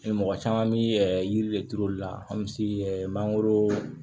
Mɔgɔ caman bi yiri de turu olu la an bɛ mangoro